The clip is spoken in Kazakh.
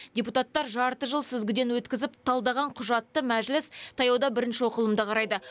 депутаттар жарты жыл сүзгіден өткізіп талдаған құжатты мәжіліс таяуда бірінші оқылымда қарайды